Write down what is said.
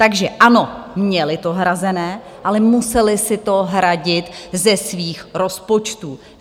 Takže ano, měli to hrazené, ale museli si to hradit ze svých rozpočtů.